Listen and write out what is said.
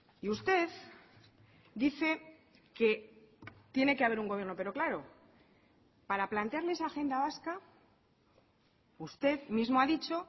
y usted dice que tiene que haber un gobierno pero claro para plantearle esa agenda vasca usted mismo ha dicho